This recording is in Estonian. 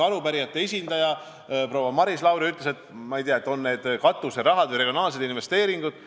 Arupärijate esindaja proua Maris Lauri rääkis, ma ei tea, katuserahast või regionaalsetest investeeringutest.